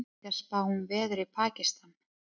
Íslendingar spá um veður í Pakistan